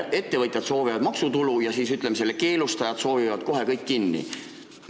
Ettevõtjad toovad maksutulu ja keelustajad soovivad kohe kõik kinni panna.